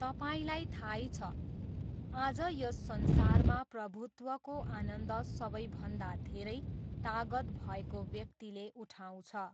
तपाईँलाई थाहै छ, आज यस संसारमा प्रभुत्वको आनन्द सबैभन्दा धेरै तागत भएको व्यक्तिले उठाउँछ।